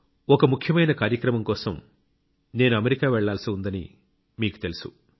ఒక ముఖ్యమైన కార్యక్రమం కోసం నేను అమెరికా వెళ్లాల్సి ఉందని మీకు తెలుసు